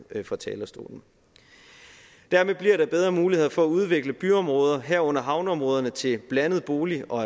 fra talerstolen dermed bliver der bedre muligheder for at udvikle byområder herunder havneområderne til blandede bolig og